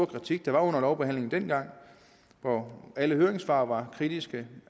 kritik der var under lovbehandlingen dengang alle høringssvar var kritiske